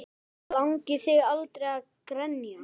Langaði þig aldrei að grenja?